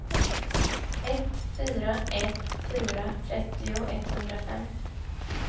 ett fyra ett fyra trettio etthundrafem